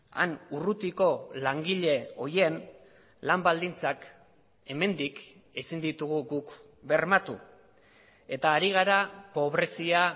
han urrutiko langile horien lan baldintzak hemendik ezin ditugu guk bermatu eta ari gara pobrezia